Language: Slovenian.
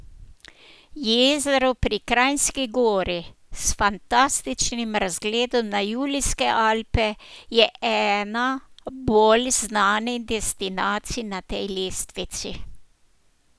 Jezero pri Kranjski Gori s fantastičnim razgledom na Julijske Alpe je ena bolj znanih destinacij na tej lestvici.